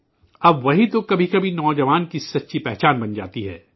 اب وہی تو کبھی کبھی نوجوان کی حقیقی شناخت بن جاتی ہے